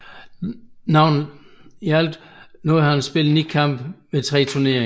I alt nåede han at spille ni kampe ved de tre turneringer